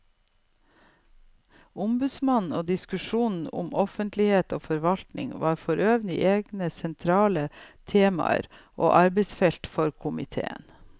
Ombudsmannen og diskusjonen om offentlighet i forvaltningen var forøvrig egne sentrale temaer og arbeidsfelt for komiteen.